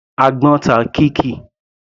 Àgbọ́n ta Kikky.